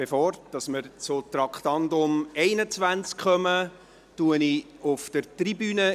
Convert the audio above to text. Bevor wir zum Traktandum 21 kommen, begrüsse ich Gäste auf der Tribüne.